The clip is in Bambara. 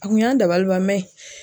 A kun y'an dabaliban